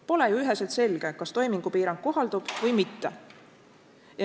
Pole ju üheselt selge, kas toimingupiirang kohaldub või mitte.